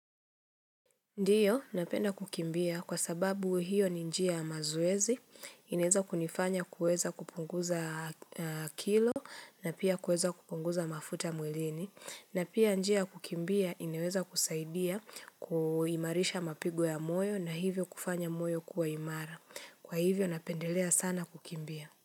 Ndiyo, napenda kukimbia kwa sababu hiyo ni njia ya mazoezi, inaeza kunifanya kuweza kupunguza kilo na pia kuweza kupunguza mafuta mwilini na pia njia ya kukimbia inaweza kusaidia kuimarisha mapigo ya moyo na hivyo kufanya moyo kuwa imara. Kwa hivyo napendelea sana kukimbia.